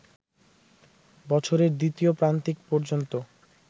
বছরের দ্বিতীয় প্রান্তিক পর্যন্ত